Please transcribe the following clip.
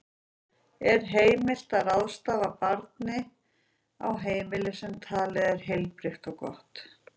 Er heimilt að ráðstafa barninu á heimili sem talið er heilbrigt og gott?